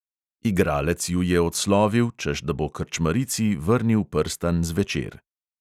Igralec ju je odslovil, češ da bo krčmarici vrnil prstan zvečer.